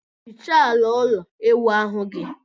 Hichaa ala ụlọ ịwụ ahu gị!